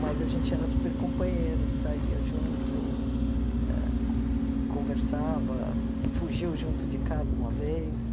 Mas a gente era super companheiro, saía junto, ah co conversava, fugiu junto de casa uma vez.